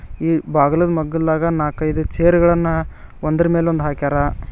ಈ ಬಾಗಿಲುಗ್ ಮಗ್ಗಲ್ದಾಗ ನಾಲ್ಕೈದು ಚೇರ್ ಗಳನ್ನ ಒಂದರ ಮೇಲೊಂದು ಹಾಕ್ಯಾರ.